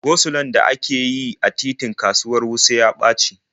Go-sulon da ake yi a titin kasuwar Wuse ya ɓaci.